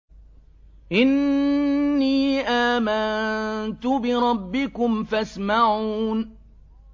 إِنِّي آمَنتُ بِرَبِّكُمْ فَاسْمَعُونِ